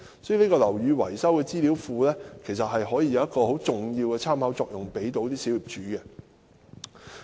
所以，"樓宇維修資料庫"可以為小業主提供很重要的參考。